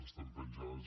estan penjades